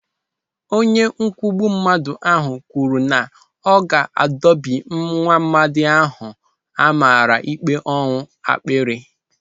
Onye ọkwugbu mmadụ ahụ kwuru na ọ ga-adopi nwaamadi ahụ amara ikpe ọnwụ akpịrị.